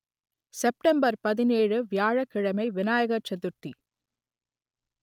September பதினேழு வியாழக் கிழமை விநாயகர் சதுர்த்தி